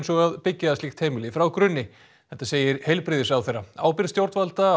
og að byggja slíkt heimili frá grunni þetta segir heilbrigðisráðherra ábyrgð stjórnvalda